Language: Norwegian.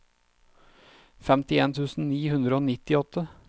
femtien tusen ni hundre og nittiåtte